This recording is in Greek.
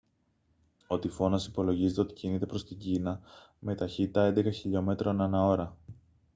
ο τυφώνας υπολογίζεται ότι κινείται προς την κίνα με ταχύτητα έντεκα χιλιομέτρων ανά ώρα